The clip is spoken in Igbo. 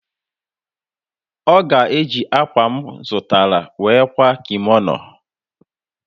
Ọ ga-eji akwa a m zụtara were kwaa kimono.